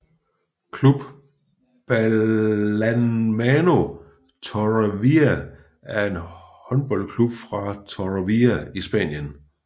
Club Balonmano Torrevieja er en håndboldklub fra Torrevieja i Spanien